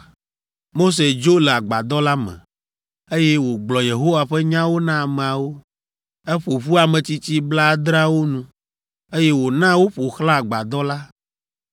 Mose dzo le agbadɔ la me, eye wògblɔ Yehowa ƒe nyawo na ameawo. Eƒo ƒu ametsitsi blaadreawo nu, eye wòna woƒo xlã agbadɔ la.